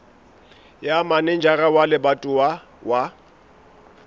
ya manejara wa lebatowa wa